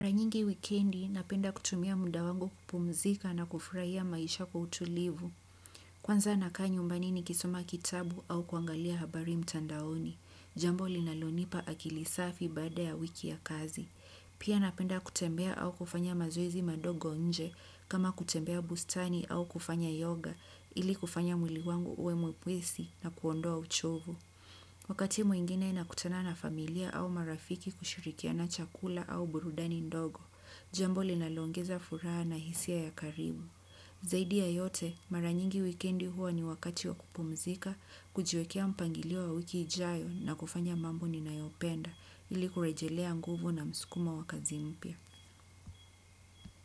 Mara nyingi wikendi napenda kutumia muda wangu kupumzika na kufurahia maisha kwa utulivu. Kwanza nakaa nyumbani nikisoma kitabu au kuangalia habari mtandaoni. Jambo linalonipa akili safi baada ya wiki ya kazi. Pia napenda kutembea au kufanya mazoezi madogo nje kama kutembea bustani au kufanya yoga ili kufanya mwili wangu uwe mwepesi na kuondoa uchovu. Wakati mwingine nakutana na familia au marafiki kushirikiana chakula au burudani ndogo. Jambo linaloongeza furaha na hisia ya karibu. Zaidi ya yote, mara nyingi wikendi huwa ni wakati wa kupumzika. Kujiwekea mpangilio wa wiki ijayo na kufanya mambo ninayopenda. Ili kurejelea nguvu na msukumo wa kazi mpya.